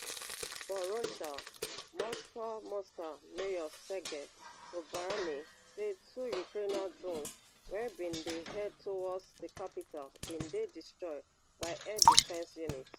for russia moscow moscow mayor sergei sobyanin say two ukrainian drones wey bin dey head towards di capital bin dey destroyed by air defence units